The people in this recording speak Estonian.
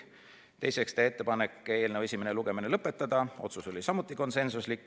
Teiseks, teha ettepanek eelnõu esimene lugemine lõpetada .